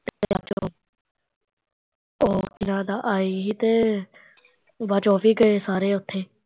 ਆਏ ਸੀ ਤੇ ਬਾਦ ਚੋਂ ਉਹ ਵੀ ਗਏ ਸਾਰੇ ਉਥੇ